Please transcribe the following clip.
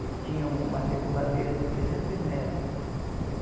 Ele tinha uma circuladeira de trezentos metro.